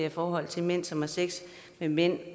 i forhold til mænd som har sex med mænd